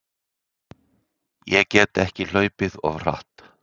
Ég get ekki hlaupið of hratt?